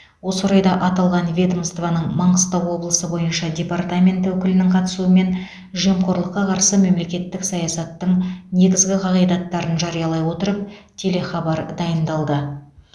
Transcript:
осы орайда аталған ведомствоның маңғыстау облысы бойынша департаменті өкілінің қатысуымен жемқорлыққа қарсы мемлекеттік саясаттың негізгі қағидаттарын жариялай отырып телехабар дайындалды